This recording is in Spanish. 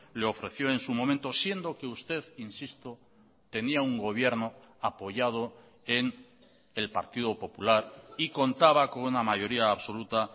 le ofreció en su momento siendo que usted insisto tenía un gobierno apoyado en el partido popular y contaba con una mayoría absoluta